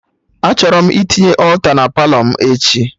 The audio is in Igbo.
Achọrọ m itinye alta na Palọ m echi